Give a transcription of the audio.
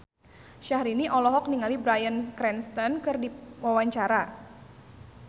Syahrini olohok ningali Bryan Cranston keur diwawancara